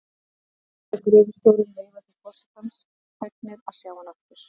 Ungi og gamli gröfustjórinn veifa til forsetans, fegnir að sjá hann aftur.